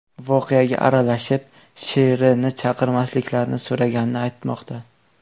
voqeaga aralashib, Sh.R.ni chaqirmasliklarini so‘raganini aytmoqda.